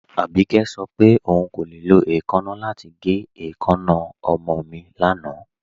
Abíkẹ̀ sọ pé ọún kò le lọ èèkánna lati gẹ̀ èèkánna ọmọ mi lánà.